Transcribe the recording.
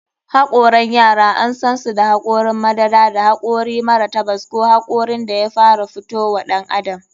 Hokaran yara an sansu da hakorin madara, da hakori mara tabas ko hakorin da ya fara fito wa ɗan adam.